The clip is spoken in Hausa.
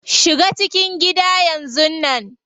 Shiga cikin gida yanzun nan.